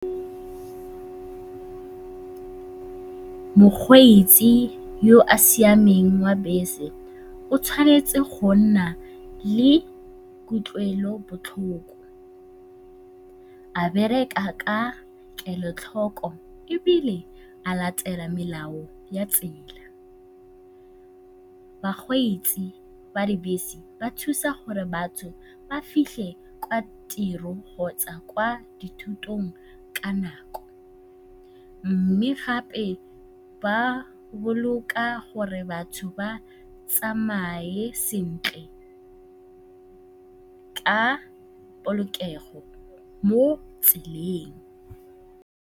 Mokgweetsi yo a siameng wa bese o tshwanetse go nna le kutlwelobotlhoko, a bereka ka kelotlhoko ebile a latela melao ya tsela. Bakgweetsi ba dibese ba thusa gore batho ba fitlhe kwa tirong kgotsa kwa dithutong ka nako, mme gape ba boloka gore batho ba tsamaye sentle ka polokego mo tseleng.